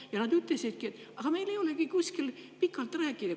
Ja nad ütlesidki, et neil ei ole kuskil pikalt rääkida.